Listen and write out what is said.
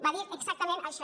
va dir exactament això